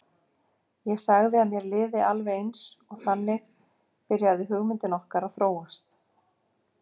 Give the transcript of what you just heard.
Ég sagði að mér liði alveg eins og þannig byrjaði hugmyndin okkar að þróast.